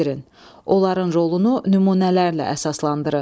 Onların rolunu nümunələrlə əsaslandırın.